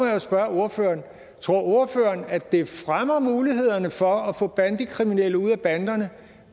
jo spørge ordføreren tror ordføreren at det fremmer mulighederne for at få bandekriminelle ud af banderne